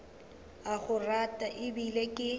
a go rata ebile ke